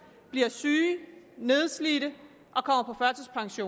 bliver syge nedslidte